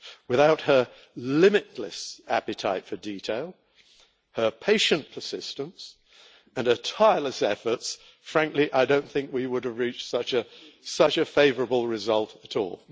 Without her limitless appetite for detail, her patient persistence and her tireless efforts, frankly, I don't think we would have reached such a favourable result at all.